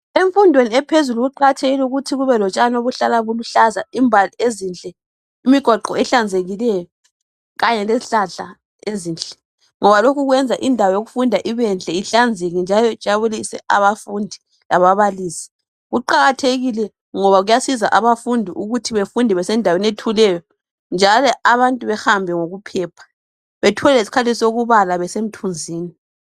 Imfundweni ephezulu kuqakathekile ukuthi kuhlale kulotshani obuluhlaza imbali ezinhle imigwaqo ehlanzekileyo Kanye lezihlahla ezinhle ngoba lokhu kwenza indawo yokufunda ibenhle ihlanzeke ijabulise abafundi lababalisi kuqakathekile ngoba kuyasiza abafundi ukuthi befunde besendaweni ethuleyo njalo abantu behambe ngokuphepha bethole lesikhathi sokubala besemthunzini